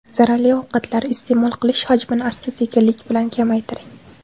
Zararli ovqatlar iste’mol qilish hajmini asta-sekinlik bilan kamaytiring.